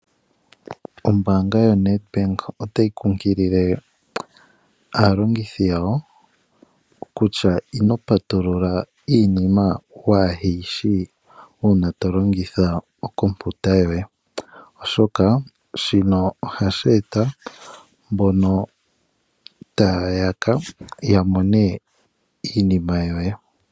Ombaanga yoNedbank otayi kunkilile aalongithi yawo kutya, ino patulula iinima kuyishi uuna tolongitha okompiuta yoye. Oshoka shino ohashi eta mbono taa yaka yamone iinima yoye.